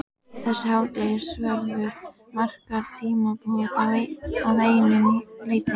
Þessi hádegisverður markar tímamót að einu leyti.